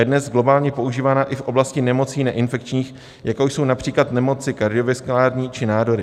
Je dnes globálně používaná i v oblasti nemocí neinfekčních, jako jsou například nemoci kardiovaskulární či nádory.